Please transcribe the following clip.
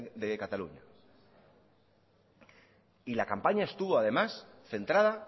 de cataluña y la campaña estuvo además centrada